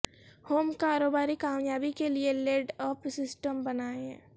home کاروباری کامیابی کے لئے لیڈ اپ سسٹم بنائیں